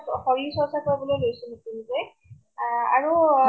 শৰীৰ চৰ্চা কৰিবলৈ লৈছো নতুন কে । আৰু অ